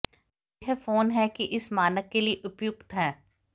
यह फोन है कि इस मानक के लिए उपयुक्त हैं